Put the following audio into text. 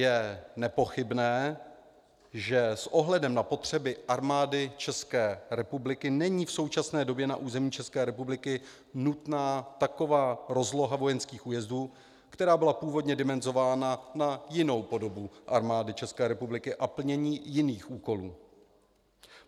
Je nepochybné, že s ohledem na potřeby Armády ČR není v současné době na území ČR nutná taková rozloha vojenských újezdů, která byla původně dimenzována na jinou podobu Armády ČR a plnění jiných úkolů.